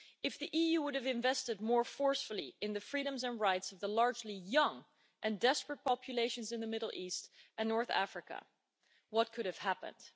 If the EU had invested more forcefully in the freedoms and rights of the largely young and desperate populations in the Middle East and North Africa, what could have happened?